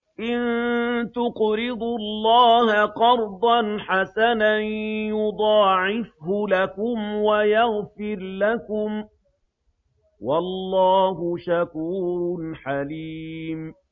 إِن تُقْرِضُوا اللَّهَ قَرْضًا حَسَنًا يُضَاعِفْهُ لَكُمْ وَيَغْفِرْ لَكُمْ ۚ وَاللَّهُ شَكُورٌ حَلِيمٌ